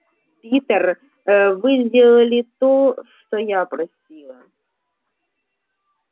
питер вы сделали то что я просила